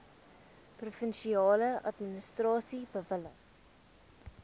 provinsiale administrasie bewillig